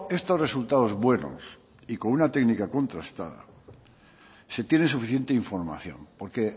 estos resultados buenos y con una técnica contrastada se tiene suficiente información porque